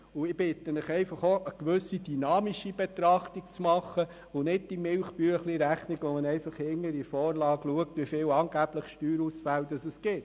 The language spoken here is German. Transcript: Ich bitte Sie, auch eine gewisse dynamische Betrachtung vorzunehmen und nicht nur eine Milchbüchleinrechnung anzustellen, indem man hinten in der Vorlage nachliest, wie viele angebliche Steuerausfälle damit drohten.